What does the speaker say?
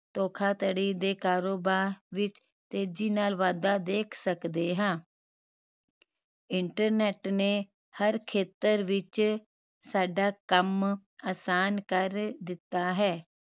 ਧੋਖਾਧੜੀ ਦੇ ਕਾਰੋਬਾਰ ਵਿਚ ਤੇਜੀ ਨਾਲ ਵਾਧਾ ਦੇਖ ਸਕਦੇ ਹਾਂ internet ਨੇ ਹਰ ਖੇਤਰ ਵਿਚ ਸਾਡਾ ਕਾਮ ਆਸਾਨ ਕਰ ਦਿੱਤਾ ਹੈ